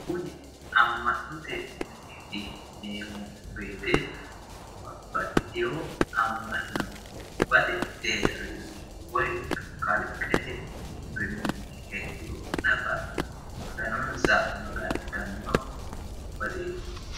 kuni amma'note mineeti yineemmo wote babbaxitino amma'no gobbate deerrinni woyi kalqete deerrinni heedhanno ikkituro nafa maganonsa magannitanno baseeti.